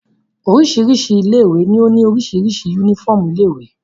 Oríṣiríṣi ilé-ìwé ni ó ní oríṣiríṣi únífọ́ọ́mù ilé-ìwé.